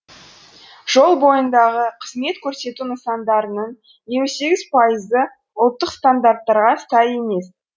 жол бойындағы қызмет көрсету нысандарының елу сегіз пайызы ұлттық стандарттарға сай емес